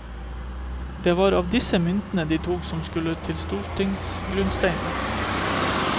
Det var av disse myntene de tok det som skulle i stortingsgrunnsteinen.